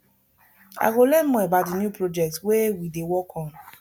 i go learn more about di new project wey we dey work on